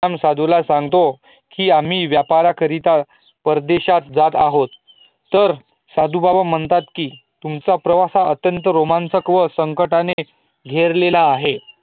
तर राम साधूला सगतो की आम्हीं व्यापार करीता परदेशात जात आहोत, तर साधू बाबा म्हणतात की तुमचा प्रवास हा अत्यंत रोमांचक आणि संकटाने घेरलेला आहे